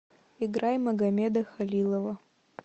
играй магамеда халилова